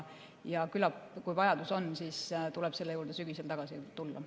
Küllap, kui vajadus on, siis tuleb selle juurde sügisel tagasi tulla.